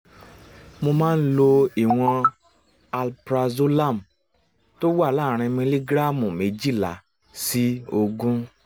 mo máa ń lo ìwọ̀n alprazolam tó wà láàárín miligíráàmù méjìlá sí ogún